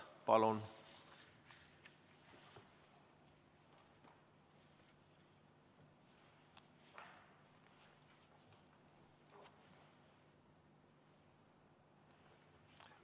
Palun!